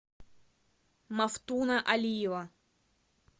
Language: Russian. мафтуна алиева